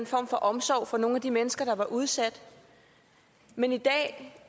form for omsorg for nogle af de mennesker der var udsat men i dag